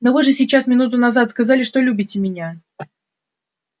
но вы же сейчас минуту назад сказали что любите меня